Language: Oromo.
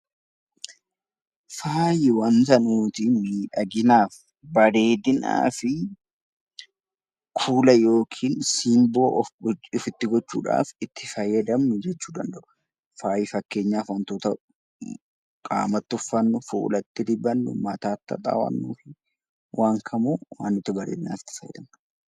Faayi waanta nuti miidhaginaaf, bareedinaaf nuti fuula yookiin simboo ofitti gochuudhaaf itti fayyadamnu jechuudha. Faayi fakkeenyaaf waantota qaamatti uffanni, fuulatti dibannu, mataatti haxaa'annuu fi waan kamuu waan itti fayyadamnudha.